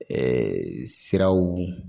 siraw